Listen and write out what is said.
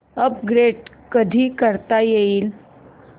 upgrade कधी करता येईल